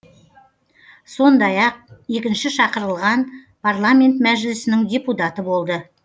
сондай ақ екінші шақырылған парламент мәжілісінің депутаты болды